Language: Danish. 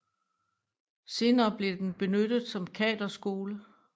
Senere blev den benyttet som kaderskole